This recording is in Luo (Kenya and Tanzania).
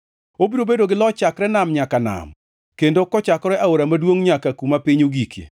Obiro bedo gi loch chakre nam nyaka nam kendo kochakore Aora maduongʼ nyaka kuma piny ogikie.